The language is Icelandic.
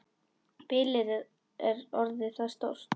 Bilið er orðið það stórt.